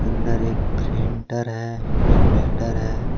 इधर एक प्रिंटर है इनवर्टर है।